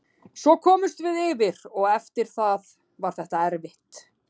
Svo komumst við yfir og eftir það var þetta erfitt.